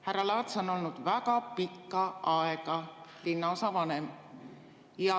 Härra Laats on olnud väga pikka aega linnaosavanem.